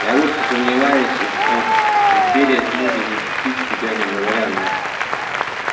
я очень сомневаюсь что империя сможет защитить себя не говоря о нас